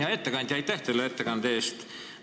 Hea ettekandja, aitäh teile ettekande eest!